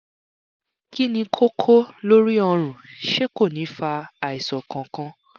kí ni kókó lórí ọ̀run ṣé kò ní fa àìsàn kankan?